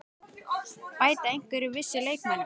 Bæta einhverjir við sig leikmönnum?